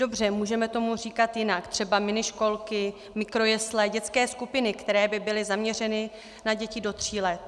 Dobře, můžeme tomu říkat jinak, třeba miniškolky, mikrojesle, dětské skupiny, které by byly zaměřeny na děti do tří let.